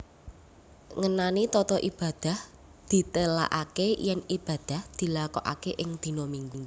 Ngenani tata ibadah ditélakaké yèn ibadah dilakokaké ing dina Minggu